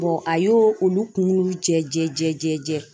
a y'o olu kunkolo jɛ.